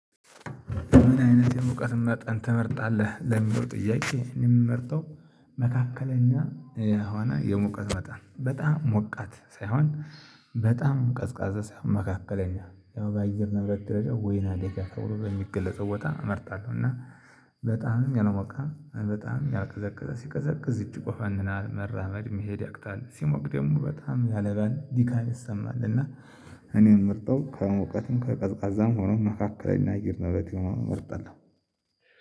ምን አይነት የመውቀት መጠን ትመርጣለህ ለሚለው ጥያቄ የምመርጠው መካከለኛ የሆነ የሞቀት መጣን በጣም ሞቃት ሳይሆን በጣም ቀዝቃዛ ሳይሆን መካከለኛ ያው በአየር ነውረት ደረጃ ወይናደጋ ተብሎ በሚገለጸው ቦታ እመርጣለሁ። እና በጣምም ያልሞቀ በጣም ያቀዘቅዘ ሲቀዘቅዝ እጅግ ይቆፈንናል መራመድ መሄድ ያቅጣል ሲሞቅ ደግሞ በጣም ያለምን ድካም ይሰማል። እና እኔን ምርጠው ከእውቀትም ከቀዝቃዛም ሆኖ መካከል እናይ እየሄድን ነበር።